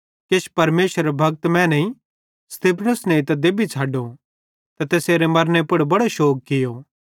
किछ परमेशरेरे भक्त मैनेईं स्तिफनुस नेइतां देबतां छ़ड्डो ते तैसेरे मरने पुड़ बड़ो शोग कियो